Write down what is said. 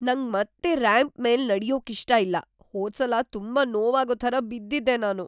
ನಂಗ್ ಮತ್ತೆ ರ್ಯಾಂಪ್ ಮೇಲ್ ನಡ್ಯೋಕ್ಕಿಷ್ಟ ಇಲ್ಲ. ‌ಹೋದ್ಸಲ ತುಂಬಾ ನೋವಾಗೋ ಥರ ಬಿದ್ದಿದ್ದೆ ನಾನು..